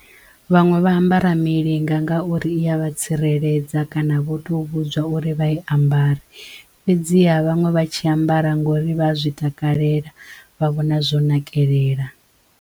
Vhaṅwe vha ambara milinga nga ngauri i ya vha tsireledza kana vho to vhudzwa uri vha i ambara fhedziha vhaṅwe vha tshi ambara ngori vha zwi takalela vha vhona zwo nakelela.